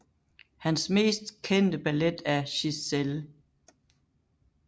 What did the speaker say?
Hans mest kendte ballet er Giselle